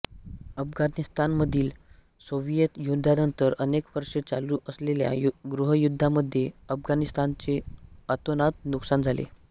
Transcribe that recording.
अफगाणिस्तानमधील Soviet युद्धानंतर अनेक वर्षे चालू असलेल्या गृहयुद्धामध्ये अफगाणिस्तानचे अतोनात नुकसान झाले